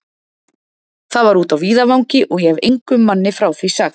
Það var úti á víðavangi, og ég hefi engum manni frá því sagt.